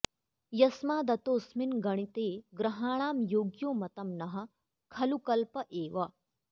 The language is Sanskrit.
यस्मादतोऽस्मिन् गणिते ग्रहाणां योग्यो मतं नः खलु कल्प एव